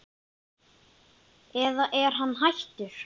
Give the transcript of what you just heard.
eða er hann hættur?